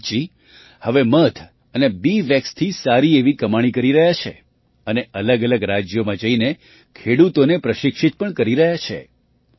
નિમિતજી હવે મધ અને બી વૅક્સથી સારી એવી કમાણી કરી રહ્યા છે અને અલગઅલગ રાજ્યોમાં જઈને ખેડૂતોને પ્રશિક્ષિત પણ કરી રહ્યા છે